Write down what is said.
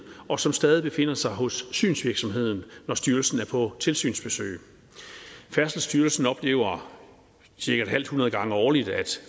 og som stadig befinder sig hos synsvirksomheden når styrelsen er på tilsynsbesøg færdselsstyrelsen oplever cirka et halvt hundrede gange årligt at